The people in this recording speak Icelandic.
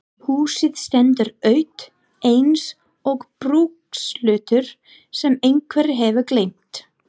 Húsið stendur autt eins og brúkshlutur sem einhver hefur gleymt.